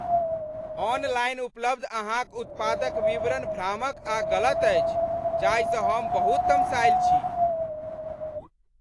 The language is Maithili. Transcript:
ऑनलाइन उपलब्ध अहाँक उत्पादक विवरण भ्रामक आ गलत अछि जाहिसँ हम बहुत तमसायल छी।